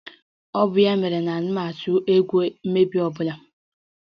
Ọ bụ ya mere na anaghị m atụ egwu mmebi ọ bụla